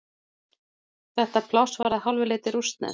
Þetta pláss var að hálfu leyti rússneskt.